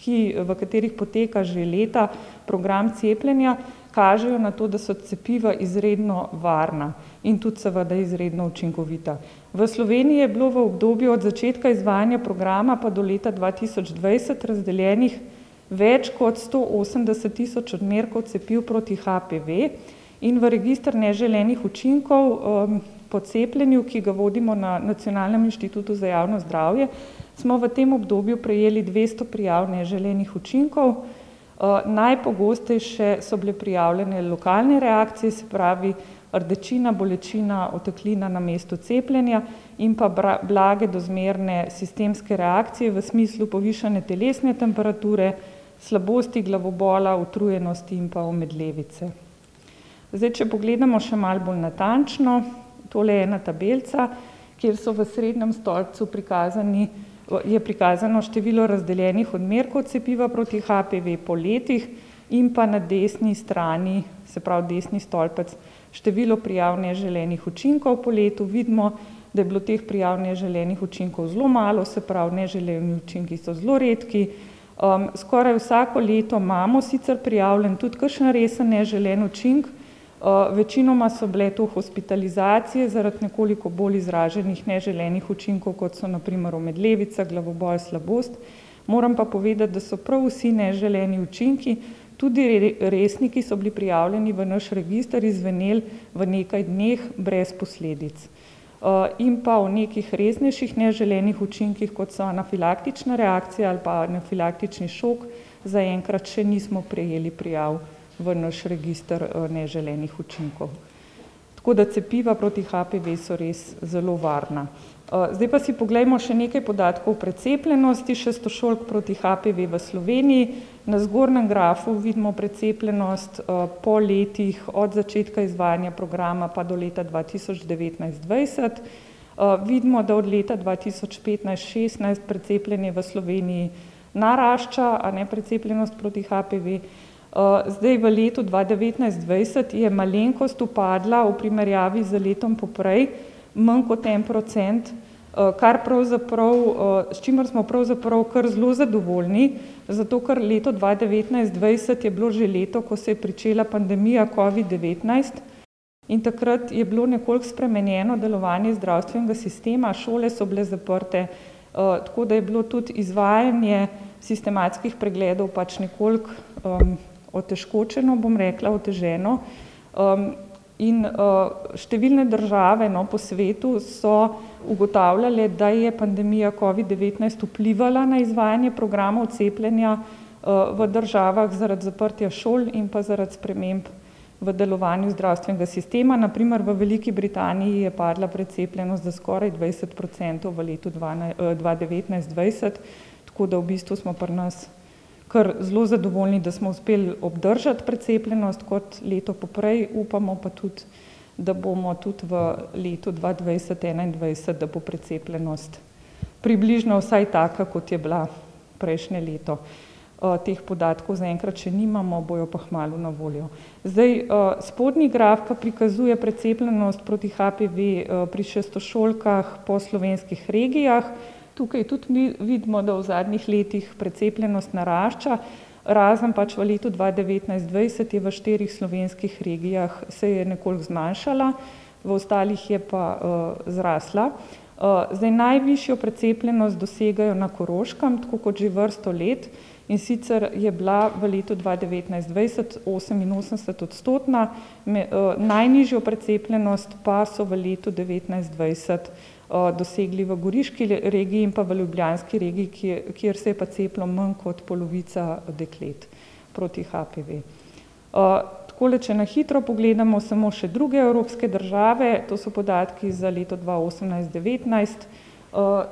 ki, v katerih poteka že leta program cepljenja, kažejo na to, da so cepiva izredno varna in tudi seveda izredno učinkovita. V Sloveniji je bilo v obdobju od začetka izvajanja programa pa do leta dva tisoč dvajset razdeljenih več kot sto osemdeset tisoč odmerkov cepiv proti HPV in v register neželenih učinkov, po cepljenju, ki ga vodimo na Nacionalnem inštitutu za javno zdravje, smo v tem obdobju prejeli dvesto prijav neželenih učinkov. najpogostejše so bile prijavljene lokalne reakcije, se pravi rdečina, bolečina, oteklina na mestu cepljenja in pa blage do zmerne sistemske reakcije, v smislu povišane telesne temperature, slabosti, glavobola, utrujenosti in pa omedlevice. Zdaj, če pogledamo še malo bolj natančno. Tole je ena tabelica, kjer so v srednjem stolpcu prikazani, je prikazano število razdeljenih odmerkov cepiva proti HPV po letih, in pa na desni strani, se pravi desni stolpec, število prijav neželenih učinkov po letu. Vidimo, da je bilo teh prijav neželenih učinkov zelo malo, se pravi neželeni učinki so zelo redki, skoraj vsako leto imamo sicer prijavljen tudi kakšen resen neželeni učinek, večinoma so bile to hospitalizacije zaradi nekoliko bolj izraženih neželenih učinkov, kot so na primer omedlevica, glavobol, slabost. Moram pa povedati, da so prav vsi neželeni učinki, tudi resni, ki so bili prijavljeni v naš register, izzveneli v nekaj dneh brez posledic. in pa o nekih resnejših neželenih učinkih, kot so anafilaktična reakcija ali pa anafilaktični šok, zaenkrat še nismo prejeli prijav v naš register, neželenih učinkov. Tako da cepiva proti HPV so res zelo varna. zdaj pa si poglejmo še nekaj podatkov o precepljenosti šestošolk proti HPV v Sloveniji. Na zgornjem grafu vidimo precepljenost, po letih od začetka izvajanja programa pa do leta dva tisoč devetnajst-dvajset. vidimo, da od leta dva tisoč petnajst-šestnajst precepljeni v Sloveniji narašča, a ne, precepljenost proti HPV. zdaj v letu dva devetnajst-dvajset je malenkost upadla v primerjavi z letom poprej, manj kot en procent, kar pravzaprav, s čimer smo pravzaprav kar zelo zadovoljni, zato ker leto dva devetnajst-dvajset je bilo že leto, ko se je pričela pandemija covid-devetnajst, in takrat je bilo nekoliko spremenjeno delovanje zdravstvenega sistema, šole so bile zaprte, tako da je bilo tudi izvajanje sistematskih pregledov pač nekoliko, otežkočeno, bom rekla, oteženo. in, številne države, no, po svetu so ugotavljale, da je pandemija covid-devetnajst vplivala na izvajanje programov cepljenja, v državah zaradi zaprtja šoli in pa zaradi sprememb v delovanju zdravstvenega sistema, na primer v Veliki Britaniji je padla precepljenost za skoraj dvajset procentov v letu dva devetnajst-dvajset. Tako da v bistvu smo pri nas kar zelo zadovoljni, da smo uspeli obdržati precepljenost kot leto poprej, upamo pa tudi, da bomo tudi v letu dva dvajset-enaindvajset, da bo precepljenost približno vsaj taka, kot je bila prejšnje leto. teh podatkov zaenkrat še nimamo, bojo pa hmalu na voljo. Zdaj, spodnji graf pa prikazuje precepljenost proti HPV, pri šestošolkah po slovenskih regijah. Tukaj tudi vidimo, da v zadnjih letih precepljenost narašča, razen pač v letu dva devetnajst-dvajset je v štirih slovenskih regijah se je nekoliko zmanjšala, v ostalih je pa, zrasla. zdaj, najvišjo precepljenost dosegajo na Koroškem, tako kot že vrsto let, in sicer je bila v letu dva devetnajst-dvajset oseminosemdesetodstotna. najnižjo precepljenost pa so v letu devetnajst-dvajset, dosegli v goriški regiji in pa v ljubljanski regiji, kjer pa se je cepilo manj kot polovica deklet proti HPV. takole če na hitro pogledamo samo še druge evropske države, to so podatki za leto dva osemnajst-devetnajst,